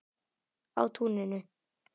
Á túninu.